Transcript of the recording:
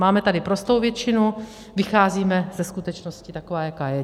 Máme tady prostou většinu, vycházíme ze skutečnosti takové, jaká je.